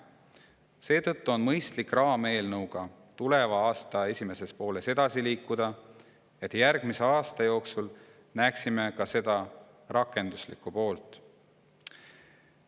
Seetõttu on mõistlik raameelnõuga tuleva aasta esimeses pooles edasi liikuda, et järgmise aasta jooksul näeksime ka seda rakenduslikku poolt.